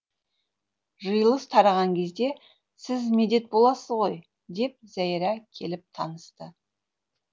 жиылыс тараған кезде сіз медет боласыз ғой деп зәйрә келіп танысты